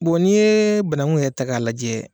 n'i ye banagun yɛrɛ ta k'a lajɛ